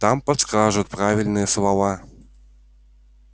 там подскажут правильные слова